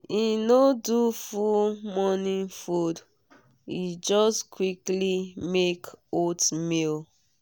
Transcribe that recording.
e no do full morning food e just quickly make oatmeal.